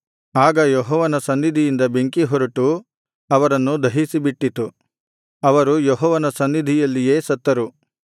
ಆಗ ಯೆಹೋವನ ಸನ್ನಿಧಿಯಿಂದ ಬೆಂಕಿ ಹೊರಟು ಅವರನ್ನು ದಹಿಸಿಬಿಟ್ಟಿತು ಅವರು ಯೆಹೋವನ ಸನ್ನಿಧಿಯಲ್ಲಿಯೇ ಸತ್ತರು